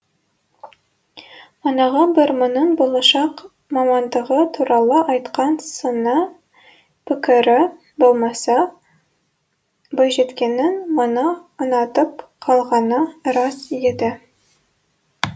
манағы бір мұның болашақ мамандығы туралы айтқан сыни пікірі болмаса бойжеткеннің мұны ұнатып қалғаны рас еді